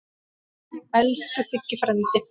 Elsku Siggi frændi.